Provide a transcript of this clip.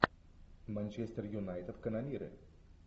манчестер юнайтед канониры